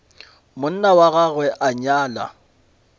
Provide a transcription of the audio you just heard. monna wa gagwe a nyala